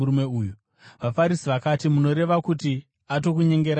VaFarisi vakati, “Munoreva kuti atokunyengerai nemiwo?